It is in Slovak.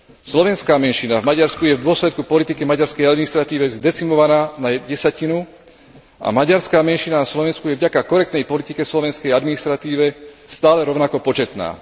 Slovenská menšina v Maďarsku je v dôsledku politiky v maďarskej administratíve zdecimovaná na jednu desatinu a maďarská menšina na Slovensku je vďaka korektnej politike v slovenskej administratíve stále rovnako početná.